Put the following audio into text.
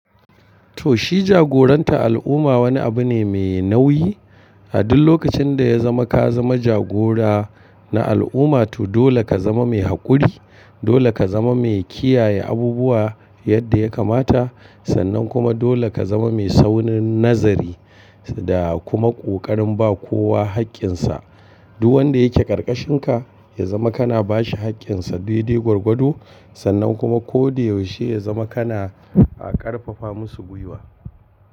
To shi jagoranta al'umma wani abu ne mai nauyi. A duk lokacin da ya zama ka zama jagora na al'umma to dole ka zama mai haƙuri, dole ka zama mai kiyaye abubuwa yadda ya kamata, sannan kuma dole ka zama mai saurin nazari da kuma ƙoƙarin ba kowa haƙƙinsa. Duk wanda yake ƙarƙashin ka ya zama kana ba shi haƙƙinsa daidai gwargwado, sannan kuma ko da yaushe ya zama kana ƙarfafa masu gwiwa.